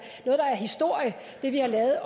det vi har lavet